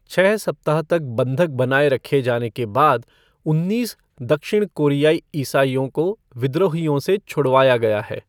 छह सप्ताह तक बंधक बनाए रखे जाने के बाद उन्नीस दक्षिण कोरियाई ईसाइयों को विद्रोहियों से छुड़वाया गया है।